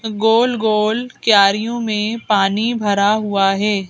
गोल-गोल क्यारियों में पानी भरा हुआ है।